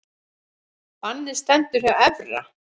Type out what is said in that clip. Bannið stendur hjá Evra